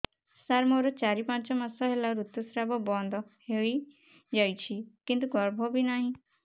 ସାର ମୋର ଚାରି ପାଞ୍ଚ ମାସ ହେଲା ଋତୁସ୍ରାବ ବନ୍ଦ ହେଇଯାଇଛି କିନ୍ତୁ ଗର୍ଭ ବି ନାହିଁ